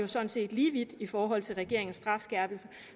sådan set lige vidt i forhold til regeringens strafskærpelse